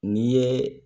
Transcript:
N'i ye